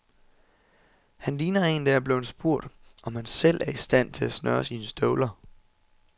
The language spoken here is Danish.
Han ligner en, der er blevet spurgt, om han selv er i stand til at snøre sine støvler.